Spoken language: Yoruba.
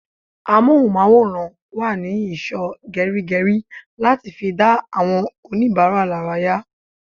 Amohunmaworan wa ní ìsò geri geri láti fi dá àwọn onibara laraya